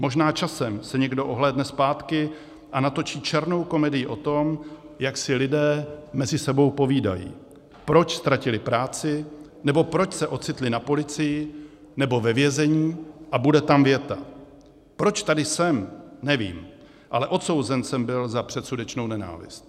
Možná časem se někdo ohlédne zpátky a natočí černou komedii o tom, jak si lidé mezi sebou povídají, proč ztratili práci nebo proč se ocitli na policii nebo ve vězení, a bude tam věta: Proč tady jsem, nevím, ale odsouzen jsem byl za předsudečnou nenávist.